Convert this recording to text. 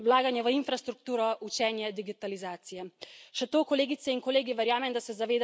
Materialna in finančna varnost, vlaganje v infrastrukturo, učenje digitalizacije.